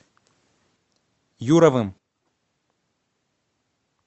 юровым